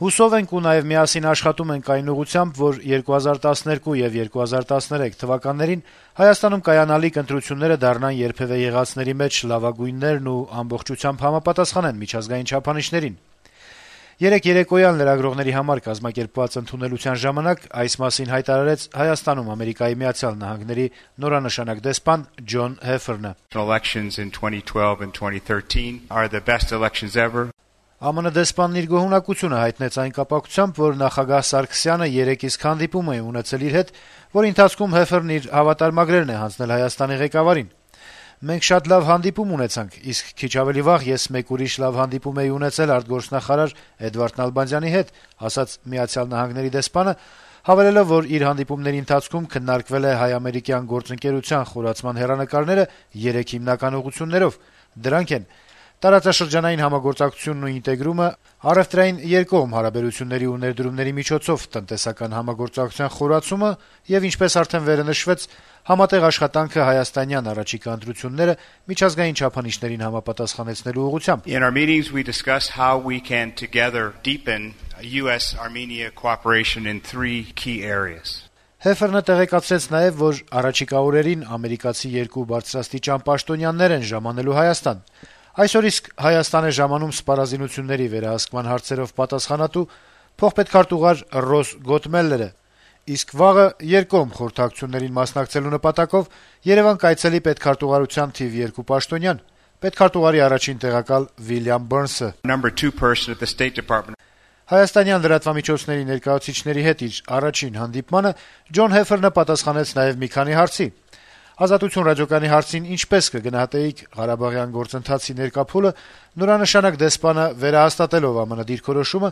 «Հուսով ենք, ու նաեւ միասին աշխատում ենք այն ուղղությամբ, որ 2012 եւ 2013 թվականերին Հայաստանում կայանալիք ընտրությունները դառնան երբեւէ եղածների մեջ լավագույններն ու ամբողջությամբ համապատասխանեն միջազգային չափանիշներին», - երկուշաբթի երեկոյան լրագրողների համար կազմակերպված ընդունելության ժամանակ հայտարարեց Հայաստանում Միացյալ Նահանգների նորանշանակ դեսպան Ջոն Հեֆերնը: ԱՄՆ-ի դեսպանն իր գոհունակությունը հայտնեց այն կապակցությամբ, որ նախագահ Սերժ Սարգսյանը նույն օրն իսկ հանդիպում է ունեցել իր հետ, որի ընթացքում Հեֆերնը իր հավատարմագրերն է հանձնել Հայաստանի ղեկավարին: «Մենք շատ լավ հանդիպում ունեցանք, իսկ քիչ ավելի վաղ ես մեկ ուրիշ լավ հանդիպում էի ունեցել արտգործնախարար Էդվարդ Նալբանդյանի հետ», - ասաց Միացյալ Նահանգների դեսպանը` հավելելով, որ իր հանդիպումների ընթացքում քննարկվել են հայ - ամերիկյան գործընկերության խորացման հեռանկարները երեք հիմնական ուղղություններով. դրանք են` տարածաշրջանային համագործակցությունն ու ինտեգրումը, առեւտրային երկկողմ հարաբերությունների ու ներդրումների միջոցով տնտեսական համագործակցության խորացումը, համատեղ աշխատանքը հայաստանյան առաջիկա ընտրությունները միջազգային չափանիշներին համապատասխանեցնելու ուղղությամբ։ Հեֆերնը տեղեկացրեց նաեւ, որ առաջիկա օրերին ամերիկացի երկու բարձրաստիճան պաշտոնյաներ են ժամանելու Հայաստան: Երեքշաբթի օրն իսկ Հայաստանում կլինի սպառազինությունների վերահսկման հարցերով պատասխանատու փոխպետքարտուղար Ռոզ Գոտմելերը, իսկ մեկ օր անց երկկողմ խորհրդակցություններին մասնակցելու նպատակով Երեւան կայցելի Պետքարտուղարության թիվ երկու պաշտոնյան` պետքարտուղարի առաջին տեղակալ Ուիլյամ Բըրնսը: Հայաստանյան լրատվամիջոցների ներկայացուցիչների հետ իր առաջին հանդիպմանը Ջոն Հեֆերնը պատասխանեց նաեւ մի քանի հարցերի: «Ազատություն» ռադիոկայանի հարցին` «ինչպե՞ս կգնահատեիք ղարաբաղյան գործընթացի ներկա փուլը», նորանշանակ դեսպանը, վերահաստատելով ԱՄՆ-ի դիրքորոշումը,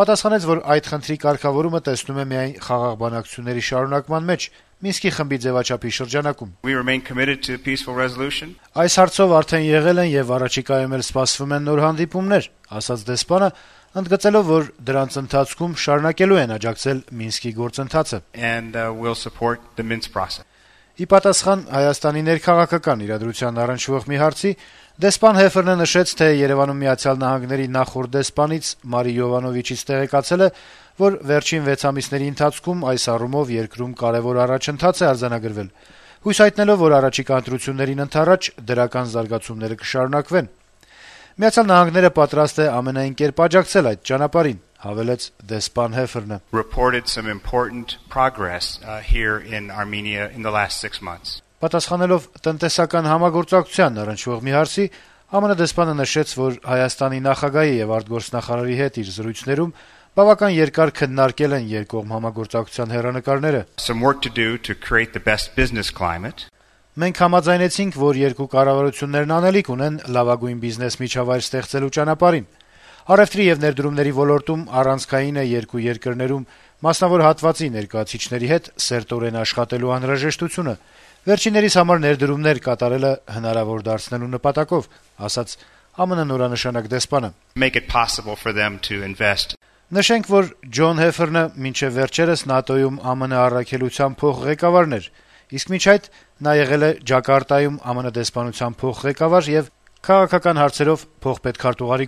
պատասխանեց, որ այդ խնդրի կարգավորումը տեսնում է միայն խաղաղ բանակցությունների շարունակման մեջ, ԵԱՀԿ-ի Մինսկի խմբի ձեւաչափի շրջանակում: «Այս հարցով արդեն եղել են եւ առաջիկայում էլ սպասվում են նոր հանդիպումներ», - ասաց դեսպանը` ընդգծելով, որ դրանց ընթացքում շարունակելու են աջակցել Մինսկի գործընթացին։ Ի պատասխան Հայաստանի ներքաղաքական իրադրությանն առնչվող մի հարցի` դեսպան Հեֆերնը նշեց, թե Երեւանում Միացյալ Նահանգների նախորդ դեսպանից` Մարի Յովանովիչից տեղեկացել է, որ վերջին 6 ամիսների ընթացքում այս առումով երկրում կարեւոր առաջընթաց է արձանագրվել։ Նա հույս հայտնեց, որ գալիք ընտրություններին ընդառաջ` դրական զարգացումները կշարունակվեն: «Միացյալ Նահանգները պատրաստ է ամենայն կերպ աջակցել այդ ճանապարհին», - հավելեց Հայաստանում ԱՄՆ-ի նորանշանակ դեսպանը։ Պատասխանելով տնտեսական համագործակցությանն առնչվող մի հարցի` ԱՄՆ-ի դեսպանը նշեց, որ Հայաստանի նախագահի եւ արտգործնախարարի հետ իր զրույցներում բավական երկար քննարկել են երկկողմ համագործակցության հեռանկարները: «Մենք համաձայնեցինք, որ երկու կառավարությունները անելիք ունեն լավագույն բիզնես միջավայր ստեղծելու ճանապարհին: Առեւտրի եւ ներդրումների ոլորտում առանցքային է երկու երկրներում մասնավոր հատվածի ներկայացուցիչների հետ սերտորեն աշխատելու անհրաժեշտությունը` վերջիններիս համար ներդրումներ կատարելը հնարավոր դարձնելու նպատակով», - ասաց Հեֆերնը: Նշենք, որ Ջոն Հեֆերնը մինչեւ վերջերս ՆԱՏՕ-ում ԱՄՆ առաքելության փոխղեկավարն էր, իսկ մինչ այդ նա եղել է Ջակարտայում ԱՄՆ դեսպանության փոխղեկավար եւ քաղաքական հարցերով փոխպետքարտուղարի